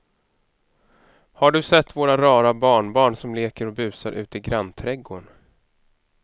Har du sett våra rara barnbarn som leker och busar ute i grannträdgården!